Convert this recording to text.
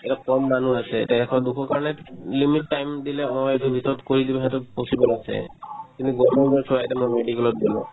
এতিয়া কম মানুহ আছে তে এশ দুশৰ কাৰণে limit time দিলে হয় সেইটোৰ ভিতৰত কৰি দিব সিহঁতৰ possible আছে কিন্তু government তত চোৱা এতিয়া মই medical ত গ'লো